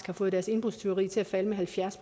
har fået deres indbrudstyverier til at falde med halvfjerds